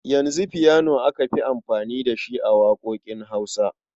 Yanzu fiyano aka fi amfani da shi a waƙoƙin Hausa.